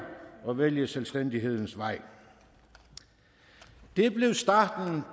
og vælge selvstændighedens vej det blev starten